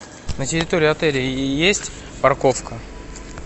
на территории отеля есть парковка